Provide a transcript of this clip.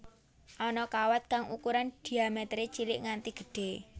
Ana kawat kang ukuran dhiaméteré cilik nganti gedhé